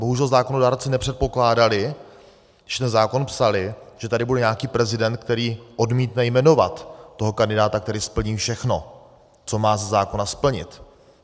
Bohužel zákonodárci nepředpokládali, když ten zákon psali, že tady bude nějaký prezident, který odmítne jmenovat toho kandidáta, který splní všechno, co má ze zákona splnit.